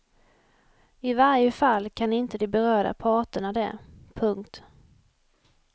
I varje fall kan inte de berörda parterna det. punkt